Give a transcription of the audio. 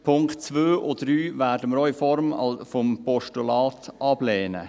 Die Punkte 2 und 3 werden wir auch in Form des Postulats ablehnen.